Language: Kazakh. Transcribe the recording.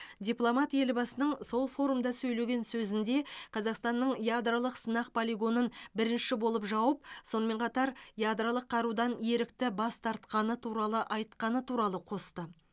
дипломат елбасының сол форумда сөйлеген сөзінде қазақстанның ядролық сынақ полигонын бірінші болып жауып сонымен қатар ядролық қарудан ерікті бас тартқаны туралы айтқаны туралы қосты